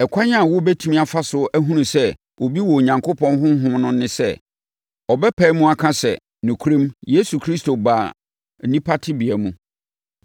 Ɛkwan a wobɛtumi afa so ahunu sɛ obi wɔ Onyankopɔn Honhom no ne sɛ, ɔbɛpae mu aka sɛ, nokorɛm Yesu Kristo baa onipa tebea mu.